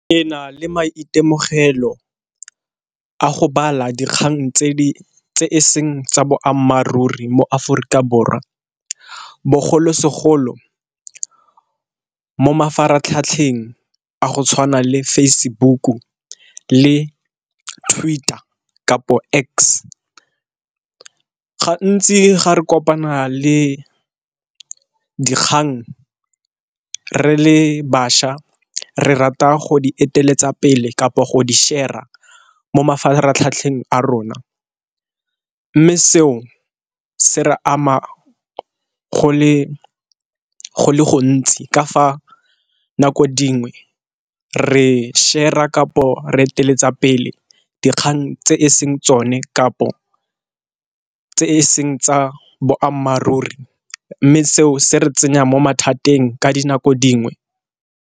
Ke le maitemogelo a go bala dikgang tse di seng tsa boammaaruri mo Aforika Borwa, bogolosegolo mo mafaratlhatlheng a go tshwana le Facebook-u le Twitter kapo X. Gantsi ga re kopana le dikgang re le bašwa re rata go di eteletseng pele kapo go di share-a mo mafaratlhatlheng a rona. Mme seo se re ama go le go le gontsi ka fa nako dingwe re share-a kapo re eteletseng pele dikgang tse e seng tsone kapo tse e seng tsa boammaaruri, mme seo se re tsenya mo mathateng ka dinako dingwe.